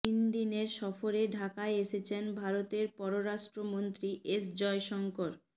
তিন দিনের সফরে ঢাকায় এসেছেন ভারতের পররাষ্ট্রমন্ত্রী এস জয়শঙ্কর